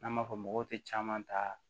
N'an b'a fɔ mɔgɔw tɛ caman ta